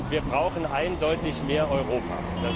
Wir brauchen eindeutig mehr Europa!